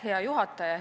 Hea juhataja!